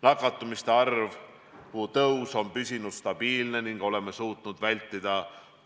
Nakatumiste arvu kasv on püsinud stabiilne ning oleme suutnud vältida